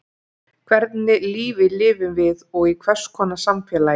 Hvernig lífi lifum við og í hvers konar samfélagi?